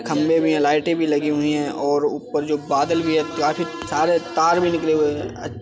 खम्बे भी हैं। लाइटें भी लगी हुई हैं और ऊपर जो बादल‌ भी हैं। काफी सारे तार भी निकले हुए हैं।